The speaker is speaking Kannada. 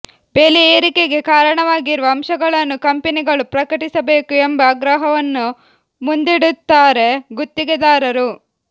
ಬೆಲೆ ಏರಿಕೆಗೆ ಕಾರಣವಾಗಿರುವ ಅಂಶಗಳನ್ನು ಕಂಪೆನಿಗಳು ಪ್ರಕಟಿಸಬೇಕು ಎಂಬ ಆಗ್ರಹವನ್ನು ಮುಂದಿಡುತ್ತಾರೆ ಗುತ್ತಿಗೆದಾರರು